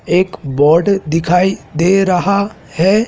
एक बोर्ड दिखाई दे रहा है।